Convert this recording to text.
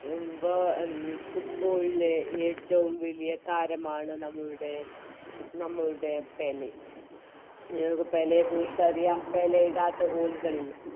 Football ലെ ഏറ്റോം വലിയ താരമാണ് നമ്മളുടെ നമ്മളുടെ പെലെ നമുക്ക് പെലെയെക്കുറിച്ചറിയാം പെലെയിടാത്ത Goal കൾ ഇല്ല